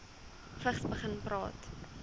vigs begin praat